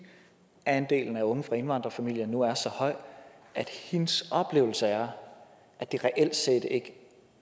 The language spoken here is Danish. andelen af unge fra indvandrerfamilier nu er så høj at hendes oplevelse er at det reelt set ikke